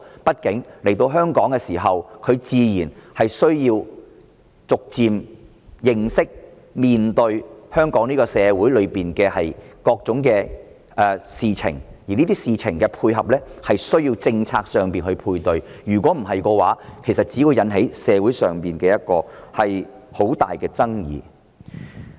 畢竟，來到香港後，他們需要逐漸認識及面對香港社會各種事情，而要對此作出配合，便需要有相應的政策，否則只會引起社會上很大的爭議。